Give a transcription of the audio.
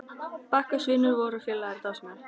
Bakkus vinur vor og félagi er dásamlegur.